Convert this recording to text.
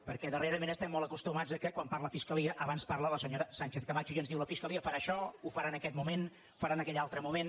perquè darrerament estem molt acostumats que quan parla fiscalia abans parla la senyora sánchezcamacho i ens diu la fiscalia farà això ho farà en aquest moment ho farà en aquell altre moment